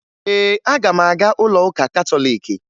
Ee, aga m aga ụlọụka katọliiki